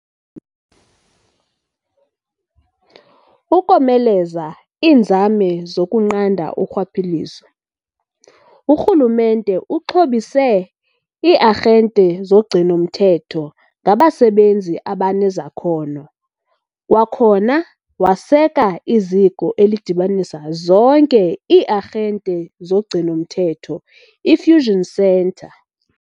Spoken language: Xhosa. Ukomeleza iinzame zokunqanda urhwaphilizo, uRhulumente uxhobise ii-arhente zogcino-mthetho ngabasebenzi abanezakhono, kwakhona waseka iZiko elidibanisa zonke ii-arhante zogcino-mthetho i-Fusion Centre .